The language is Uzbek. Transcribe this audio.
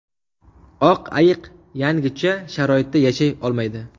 Oq ayiq yangicha sharoitda yashay olmaydi.